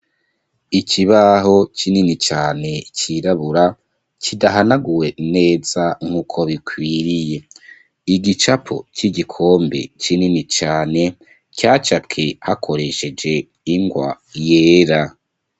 Ikibaho kinini cane, cirabura, kidahanaguwe neza nk'uko bikwiriye, igicapo c'igikombe kinini cane, cacapwe hakoresheje ingwa yera.